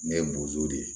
Ne ye bozo de ye